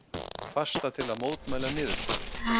Fasta til að mótmæla niðurskurði